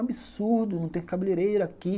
Absurdo, não tem cabeleireira aqui.